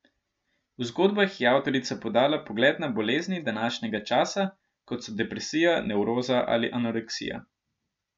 V zgodbah je avtorica podala pogled na bolezni današnjega časa, kot so depresija, nevroza ali anoreksija.